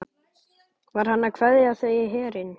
Var hann að kveðja þau í herinn?